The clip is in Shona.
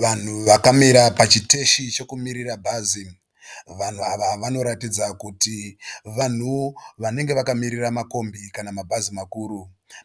Vanhu vakamira pachiteshi chekumirira bhazi . Vanhu ava vanoratidza kuti vanhu vanenge vakamirira makombi kana mabhazi makuru .